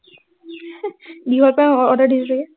দীঘল pant order দিছে চাগে